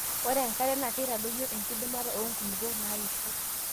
ore enkare naa keitadoyio enkidimata oo nkulupok naaisho